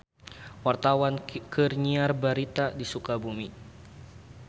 Wartawan keur nyiar berita di Sukabumi